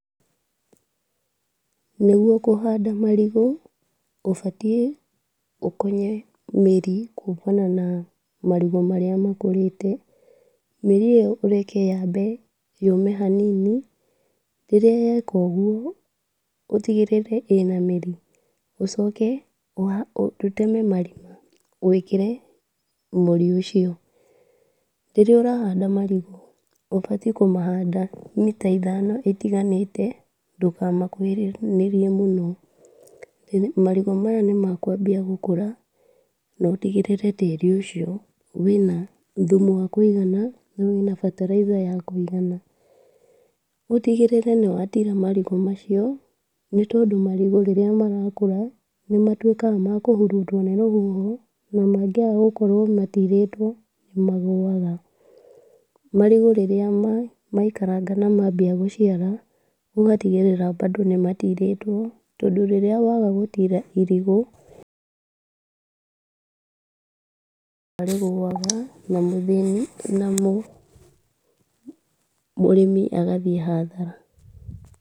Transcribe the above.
Nĩgũo kũhanda marigu, ũbatiĩ ũkonye mĩri kumana na marigu marĩa makũrĩte. Mĩri ĩyo ũreke yambe yume hanini, rĩrĩa yeka ũgũo ũtĩgĩrĩre ĩna mĩri, ũcoke ũha ũteme marima wĩkĩre mũri ũcio, rĩrĩa ũrahanda marigu, ũbatiĩ kũmahanda mita ithano itiganĩte ndũkamakũhanĩrĩirie mũno. Marigu maya nĩmekwambia gũkũra na ũtĩgĩrĩre tĩri ũcio wĩna thumu wa kũigana na wĩna fertilizer ya kũigana. Ũtigĩrĩre nĩ wa tira marigu macio, nĩ tondũ marigu rĩrĩa marakũra nĩmatuĩkaga makũhurutwo nĩ rũhũho na mangiaga gũkorwo matirĩtwo nĩ magũaga. Marigu rĩrĩa maikaranga na mambia gũciara, ũgatigĩrĩra bado nĩmatirĩtwo, tondũ rĩrĩa wagagũtira irigu nĩkũgwa rĩguaga na mũthĩni na mũrĩmi agathiĩ hathara.